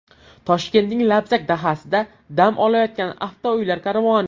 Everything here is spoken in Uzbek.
Toshkentning Labzak dahasida dam olayotgan avtouylar karvoni.